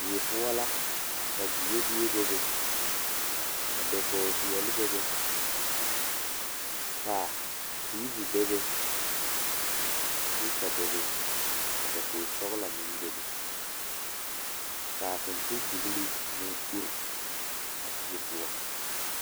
Die poɔ la ka diebie bebe ka dakogi peɛle bebe ka tiivi bebe ka sipiika bebe ka dakogi sɔglɔ meŋ bebe ka fintindigli meŋ a uri die poɔ.